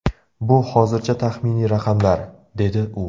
Bu hozircha taxminiy raqamlar”, - dedi u.